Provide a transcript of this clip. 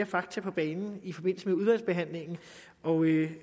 fakta på banen i forbindelse med udvalgsbehandlingen og